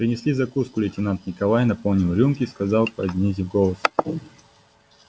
принесли закуску лейтенант николай наполнил рюмки сказал понизив голос